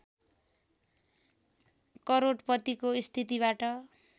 करोडपतिको स्थितिबाट